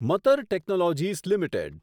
Matar Technologies limited